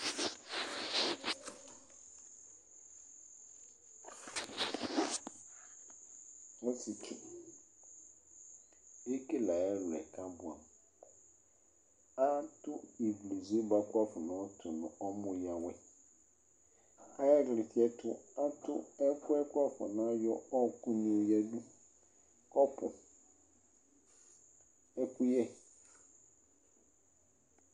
Ɔsietsu ekele ayʋ ɛlʋ yɛ kʋ abʋɛ amʋ Atu ivlezu yɛ bʋakʋ wuafɔ nayɔtu nʋ ɔmɔyǝwɛ Ayʋ ɩɣlɩtsɛ yɛ ɛtʋ, atu ɛkʋ yɛ kʋ wuafɔnayɔ ɔɔkʋ yoyǝdu, kɔpʋ ɛkʋyɛ